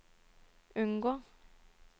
unngå